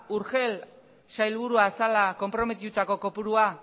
urgell sailburua zela konprometituta kopurua